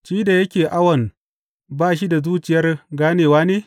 shi da yake awon ba shi da zuciyar ganewa ne?